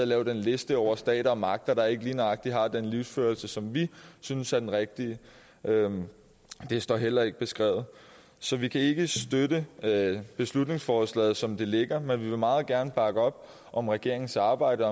lave den liste over stater og magter der ikke lige nøjagtig har den livsførelse som vi synes er den rigtige det står heller ikke beskrevet så vi kan ikke støtte beslutningsforslaget som det ligger men vi vil meget gerne bakke op om regeringens arbejde